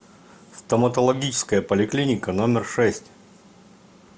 стоматологическая поликлиника номер шесть